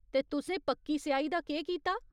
ते तुसें पक्की स्याही दा केह् कीता ?